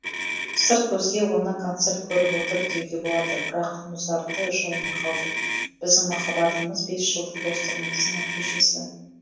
сырт көзге оны концерт көріп отыр деуге болады бірақ музарты жайына қалды біздің махаббатымыз бес жылдық достығымыздың нәтижесі